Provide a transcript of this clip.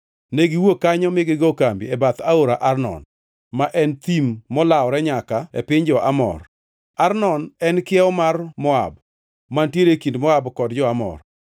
Negiwuok kanyo mi gigo kambi e bath aora Arnon, ma en thim molawore nyaka e piny jo-Amor. Arnon en kiewo mar Moab, mantiere e kind Moab kod jo-Amor.